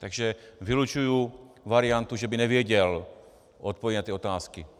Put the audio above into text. Takže vylučuji variantu, že by nevěděl odpovědi na ty otázky.